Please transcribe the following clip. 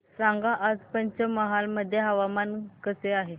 सांगा आज पंचमहाल मध्ये हवामान कसे आहे